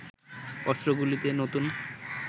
অস্ত্রগুলিতে নতুন